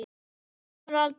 Kemur aldrei aftur.